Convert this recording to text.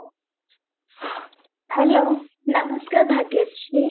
hello, ନମସ୍କାର ଭାଗ୍ୟଶ୍ରୀ